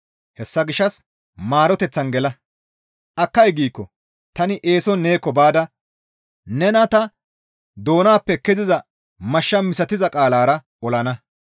Hessa gishshas maaroteththan gela; akkay giikko tani eeson neekko baada nena ta doonappe keziza mashsha misatiza qaalara olana.